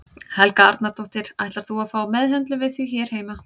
Helga Arnardóttir: Ætlar þú að fá meðhöndlun við því hér heima?